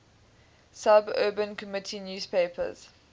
suburban community newspapers